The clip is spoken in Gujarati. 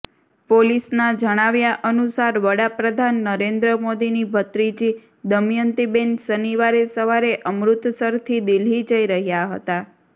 પોલીસના જણાવ્યા અનુસાર વડાપ્રધાન નરેન્દ્ર મોદીની ભત્રીજી દમયંતીબેન શનિવારે સવારે અમૃતસરથી દિલ્હી જઈ રહ્યા હતા